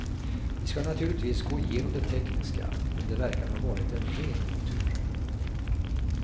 Vi ska naturligtvis gå igenom det tekniska, men det verkar ha varit ren otur.